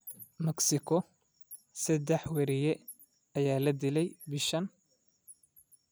Mexico: Saddex wariye ayaa la dilay bishan